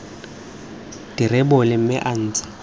di rebole mme a ntshe